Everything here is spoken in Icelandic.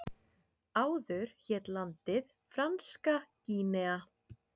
Áður hét landið Franska Gínea.